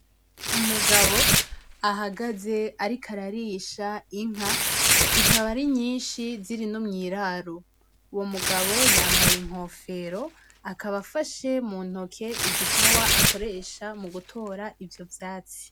Umugabo ahagaze Ariko ararisha inka zikaba arinyishi ziri no mwiraro, uwo mugabo yambaye inkofero akaba afashe mu ntonke igipawa akoresha mu gutora Ivyo vyatsi.